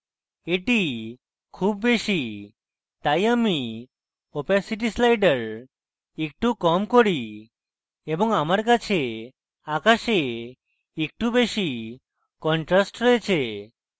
এটি খুব বেশী তাই আমি opacity slider একটু কম করি এবং আমার কাছে আকাশে একটু বেশী contrast রয়েছে